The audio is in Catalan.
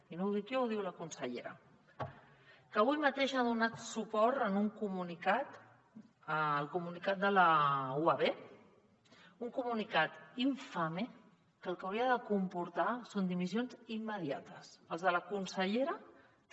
i no ho dic jo ho diu la consellera que avui mateix ha donat suport en un comunicat al comunicat de la uab un comunicat infame que el que hauria de comportar són dimissions immediates la de la consellera també